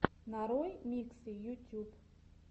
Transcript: нарой миксы ютьюб